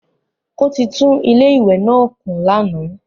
Ó ti tún ilé ìwẹ́ náà kùn lánàá.